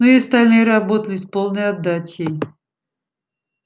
но и остальные работали с полной отдачей